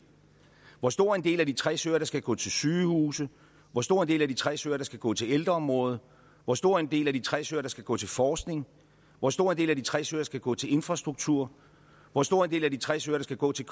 hvor stor en del af de tres øre der skal gå til sygehuse hvor stor en del af de tres øre der skal gå til ældreområdet hvor stor en del af de tres øre der skal gå til forskning hvor stor en del af de tres øre der skal gå til infrastruktur hvor stor en del af de tres øre der skal gå til